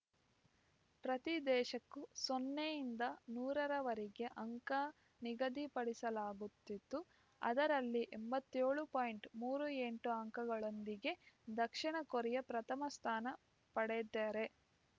ಪ್ರತಿ ದೇಶಕ್ಕೂ ಸೊನ್ನೆಯಿಂದ ನೂರರವರೆಗೆ ಅಂಕ ನಿಗದಿಪಡಿಸಲಾಗುತಿತ್ತು ಅದರಲ್ಲಿ ಎಂಬತ್ಯೋ ಳು ಪಾಯಿಂಟ್ ಮೂರು ಎಂಟು ಅಂಕಗಳೊಂದಿಗೆ ದಕ್ಷಿಣ ಕೊರಿಯಾ ಪ್ರಥಮ ಸ್ಥಾನ ಪಡೆದರೆ